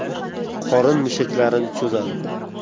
Qorin mushaklarini cho‘zadi.